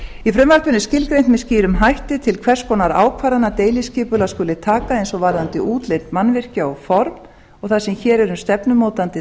í frumvarpinu er skilgreint með skýrum hætti til hvers konar ákvarðana deiliskipulag skuli taka eins og varðandi útlit mannvirkja og formaður og þar sem hér er um stefnumótandi